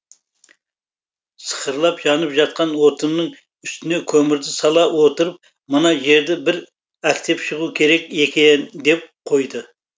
сықырлап жанып жатқан отынның үстіне көмірді сала отырып мына жерді бір әктеп шығу керек екен деп қойды